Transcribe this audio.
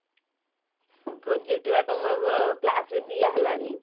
project ବା ତମର ଅ class ରେ ଦିଆ ହେଲାଣି